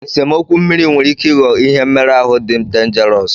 Nsemokwu mmiri nwere ike ịghọ ihe mmeru ahu dị denjarọsu.